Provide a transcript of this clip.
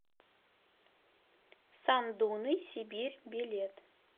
сандуны сибирь билет